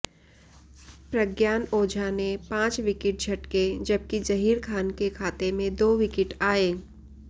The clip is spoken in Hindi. प्रज्ञान ओझा ने पांच विकेट झटके जबकि जहीर खान के खाते में दो विकेट आए